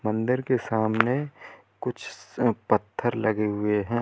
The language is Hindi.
मंदिर के सामने कुछ स पत्थर लगे हुए है।